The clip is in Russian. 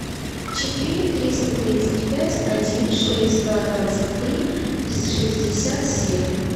четыре триста тридцать пять один шесть два двадцать три шестьдесят семь